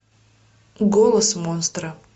голос монстра